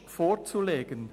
] periodisch vorzulegen